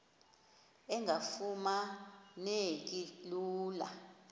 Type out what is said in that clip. engafuma neki lula